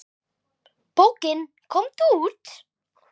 Bókin Komdu út!